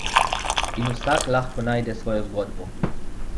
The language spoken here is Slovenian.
In vsak lahko najde svojo zgodbo.